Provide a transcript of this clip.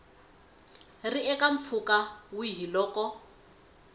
ri eka mpfhuka wihi loko